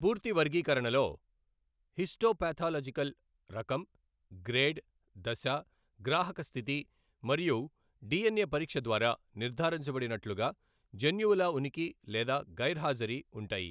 పూర్తి వర్గీకరణలో హిస్టోపాథలాజికల్ రకం, గ్రేడ్, దశ, గ్రాహక స్థితి మరియు డిఎన్ఏ పరీక్ష ద్వారా నిర్ధారించబడినట్లుగా జన్యువుల ఉనికి లేదా గైర్హాజరీ ఉంటాయి.